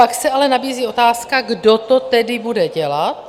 Pak se ale nabízí otázka - kdo to tedy bude dělat?